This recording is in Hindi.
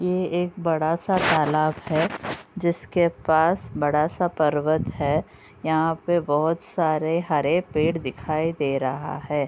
ये एक बड़ा सा तालाब है। जिसके पास बड़ा-सा पर्वत है। यहाँ पर बहोत सारे हरे पेड़ दिखाई दे रहा है।